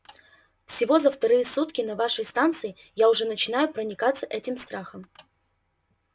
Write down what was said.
всего за вторые сутки на вашей станции я уже начинаю проникаться этим страхом